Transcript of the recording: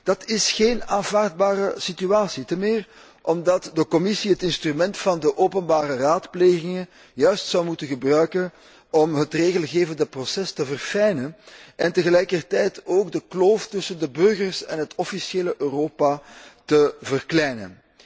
Dat is geen aanvaardbare situatie, te meer omdat de Commissie het instrument van de openbare raadplegingen juist zou moeten gebruiken om het regelgevende proces te verfijnen en tegelijkertijd ook de kloof tussen de burgers en het officiële Europa te verkleinen.